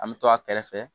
An bɛ to a kɛrɛfɛ